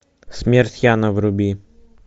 смерть яна вруби